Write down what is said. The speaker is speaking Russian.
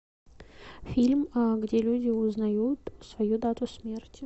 фильм где люди узнают свою дату смерти